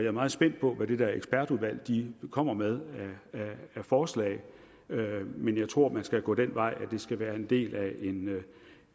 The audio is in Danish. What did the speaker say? er meget spændt på hvad det der ekspertudvalg kommer med af forslag men jeg tror at man skal gå den vej at det skal være en del af